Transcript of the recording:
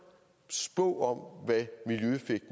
spå at af